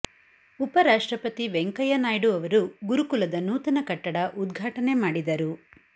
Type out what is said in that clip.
ಉಪ ರಾಷ್ಟ್ರಪತಿ ವೆಂಕಯ್ಯ ನಾಯ್ಡು ಅವರು ಗುರುಕುಲದ ನೂತನ ಕಟ್ಟಡ ಉದ್ಘಾಟನೆ ಮಾಡಿದರು